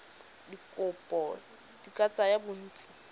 dikopo di ka tsaya bontsi